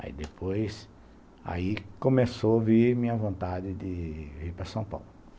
Aí depois, aí começou a vir a minha vontade de ir para São Paulo.